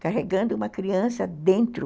carregando uma criança dentro.